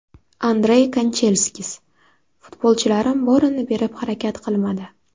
Andrey Kanchelskis: Futbolchilarim borini berib harakat qilmadi.